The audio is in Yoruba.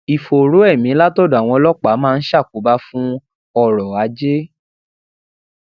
ìfòòró emi látòdò àwọn ọlópàá máa ń ṣàkóbá fún oro aje